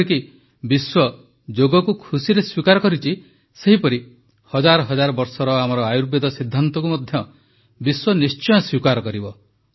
ଯେପରିକି ବିଶ୍ୱ ଯୋଗକୁ ଖୁସିରେ ସ୍ୱୀକାର କରିଛି ସେହିପରି ହଜାର ହଜାର ବର୍ଷର ଆମର ଆୟୁର୍ବେଦ ସିଦ୍ଧାନ୍ତକୁ ମଧ୍ୟ ବିଶ୍ୱ ନିଶ୍ଚୟ ସ୍ୱୀକାର କରିବ